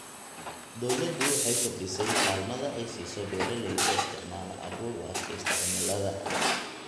Dawladdu waxay kordhisay kaalmada ay siiso beeralayda isticmaala abuur u adkaysta cimilada.